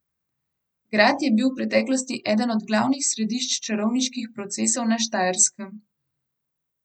Grad je bil v preteklosti eden od glavnih središč čarovniških procesov na Štajerskem.